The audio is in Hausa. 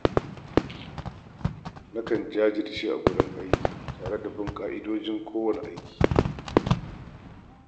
Nakan jajirce a wajen aiki tare da bin duk wasu ƙa'idojin aiki.